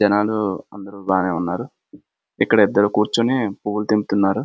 జనాలు అందరూ బాగానే ఉన్నారు ఇక్కడ ఇద్దరు కూర్చుని పువ్వులు తెంపుతున్నారు.